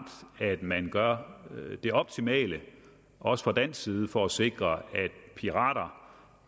at man gør det optimale også fra dansk side for at sikre at de pirater